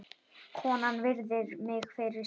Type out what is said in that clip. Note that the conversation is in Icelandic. Konan virðir mig fyrir sér.